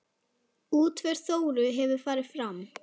Útför Þóru hefur farið fram.